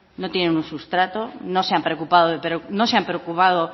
no tienen un sustrato no se han preocupado